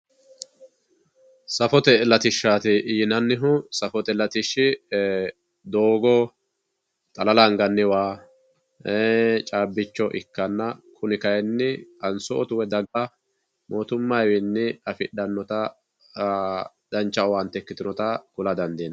safote lattishaati yinannihu safote lattishi doogo, xalala anganni waa, caabbicho ikkanna kuni kayiini qansootu woy daga mootummayiwiini afixxannota dancha owaante ikkitinota kula dandiinanni.